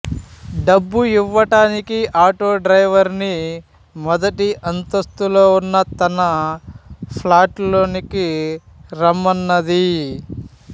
డబ్బు ఇవ్వటానికి auto driver ని మొదటి అంతస్తులో ఉన్న తన ఫ్లాట్ లోనికి రమ్మన్నది